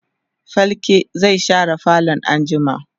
falke zai share falo anjima